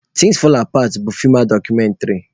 Thins fall apart bụ feem dọkụmentrị